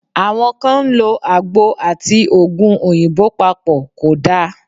Àwọn kan ń lo àgbo àti Ògùn òyìnbó papọ̀, kò da.